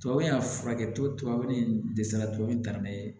Tubabu y'a furakɛ tɔ tubabu in dɛsɛra tubabu kan na